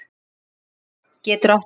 Leirá getur átt við